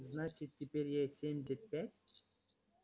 значит теперь ей семьдесят пять